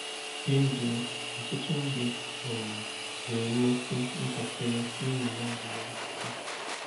N’ezie, ọtụtụ ndị um nwere mmasị ntakịrị n’ụrụma agụmakwụkwọ.